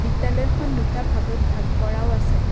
বিদ্যাল়য়খন দুটা ভাগত ভাগ কৰাও আছে।